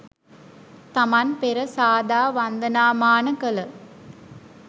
තමන් පෙර සාදා වන්දනාමාන කළ